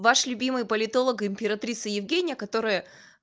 ваш любимый политолог императрица евгения которая